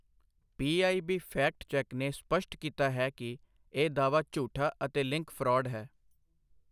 PIB fact check ਨੇ ਸਪਸ਼ਟ ਕੀਤਾ ਹੈ ਕਿ ਇਹ ਦਾਅਵਾ ਝੂਠਾ ਅਤੇ ਲਿੰਕ ਫ੍ਰੌਡ ਹੈ।